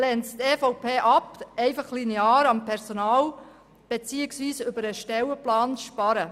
Die EVP lehnt es zudem ab, linear beim Personal beziehungsweise über den Stellenplan zu sparen.